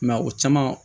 I m'a ye o caman